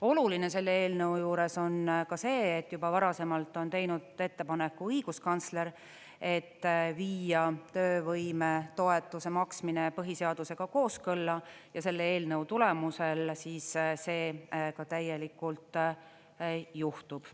Oluline selle eelnõu juures on ka see, et juba varasemalt on teinud ettepaneku õiguskantsler, et viia töövõimetoetuse maksmine põhiseadusega kooskõlla ja selle eelnõu tulemusel see ka täielikult juhtub.